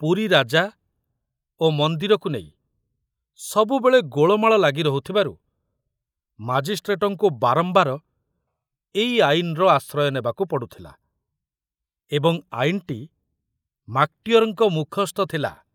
ପୁରୀ ରାଜା ଓ ମନ୍ଦିରକୁ ନେଇ ସବୁବେଳେ ଗୋଳମାଳ ଲାଗି ରହୁଥିବାରୁ ମାଜିଷ୍ଟ୍ରେଟଙ୍କୁ ବାରମ୍ବାର ଏଇ ଆଇନର ଆଶ୍ରୟ ନେବାକୁ ପଡ଼ୁଥିଲା ଏବଂ ଆଇନଟି ମାକଟିଅରଙ୍କ ମୁଖସ୍ଥ ଥିଲା।